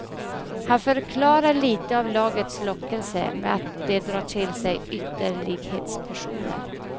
Han förklarar lite av lagets lockelse med att det drar till sig ytterlighetspersoner.